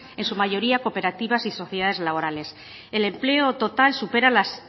en su mayoría cooperativas y sociedades laborales el empleo total supera las